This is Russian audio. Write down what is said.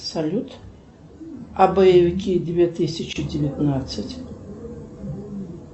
салют а боевики две тысячи девятнадцать